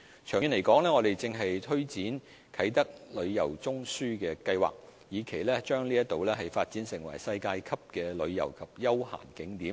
長遠而言，我們正推展"啟德旅遊中樞"計劃，以期將該處發展成世界級的旅遊及休閒景點。